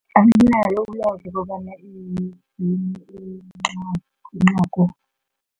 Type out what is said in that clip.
Anginalo ulwazi lokobana iyini incagu.